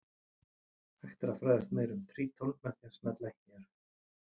Hægt er að fræðast meira um Tríton með því að smella hér.